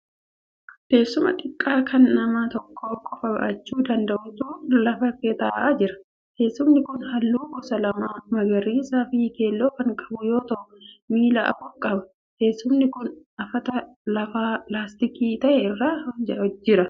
Teessuma xiqqaa kan nama tokko qofa baachuu danda'uutu lafa ta'aa jira. Teessumni kun halluu gosa lama, magariisaa fi keelloo kan qabu yoo ta'u miila afur qaba. Teessumni kun afata lafaa laastikii ta'e irra jira.